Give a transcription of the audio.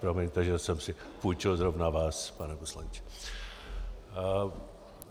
Promiňte, že jsem si půjčil zrovna vás, pane poslanče.